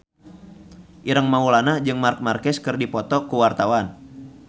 Ireng Maulana jeung Marc Marquez keur dipoto ku wartawan